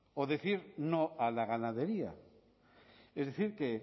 o decir no a la ganadería es decir que